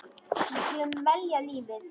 Við skulum velja lífið.